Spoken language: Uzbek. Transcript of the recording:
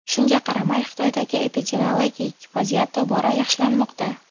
Shunga qaramay Xitoydagi epidemiologik vaziyat tobora yaxshilanmoqda .